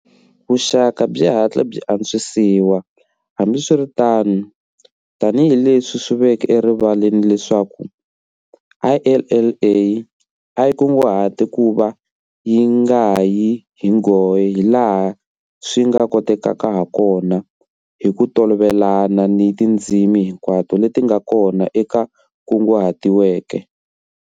Vuxaka byi hatle byi antswisiwa, hambiswiritano, tanihileswi swi veke erivaleni leswaku IALA a yi kunguhate ku va yi nga yi hi nghohe hilaha swi nga kotekaka hakona hi ku tolovelana ni tindzimi hinkwato leti nga kona leti kunguhatiweke.